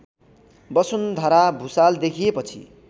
वसुन्धरा भुसाल देखिएपछि